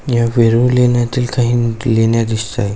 ह्या वेरुळ लेण्यातील काही लेण्या दिसताय.